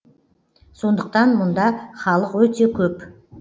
сондықтан мұнда халық өте көп